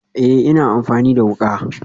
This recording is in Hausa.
Ee, ina amfani da wuka